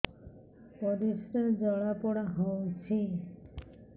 ପରିସ୍ରା ଜଳାପୋଡା ହଉଛି